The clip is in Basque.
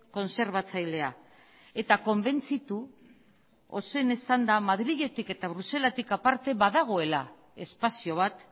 kontserbatzailea eta konbentzitu ozen esanda madriletik eta bruselatik aparte badagoela espazio bat